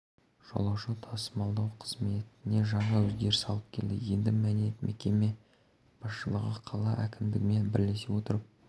жолаушы тасымалдау қызметіне жаңа өзгеріс алып келді енді міне мекеме басшылығы қала әкімдігімен бірлесе отырып